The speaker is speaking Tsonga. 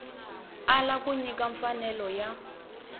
ala ku nyika mfanelo ya